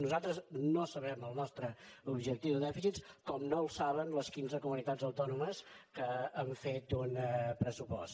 nosaltres no sabem el nostre objectiu de dèficit com no el saben les quinze comunitats autònomes que han fet un pressupost